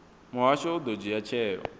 muhasho u ḓo dzhia tsheo